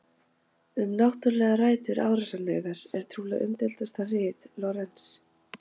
Um náttúrlegar rætur árásarhneigðar, er trúlega umdeildasta rit Lorenz.